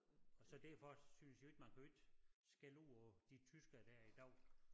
Og så derfor synes jeg jo ikke man kan jo ikke skælde ud på de tyskere der er i dag